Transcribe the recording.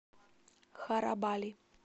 харабали